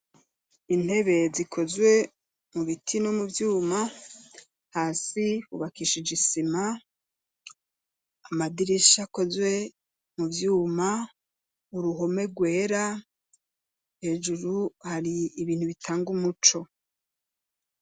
Intebe zikozwe mu biti no mu vyuma , hasi hubakishije isima , amadirisha akozwe mu vyuma , uruhome rwera, hejuru hari ibintu bitanga umuco.